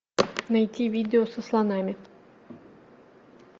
найти видео со слонами